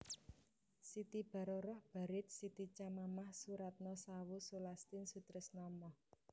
Siti Baroroh Baried Siti Chamamah Soeratno Sawoe Sulastin Sutrisno Moh